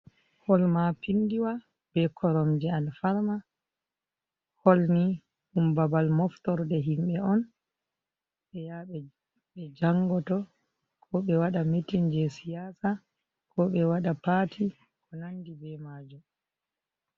Holl ma pindiwa be korom je al farm, holni ɗum babal moftorde himɓɓe on ɓe ya ɓe jangoto ko ɓe waɗa mitin je siyasa ko ɓe waɗa pati ko nandi be majum.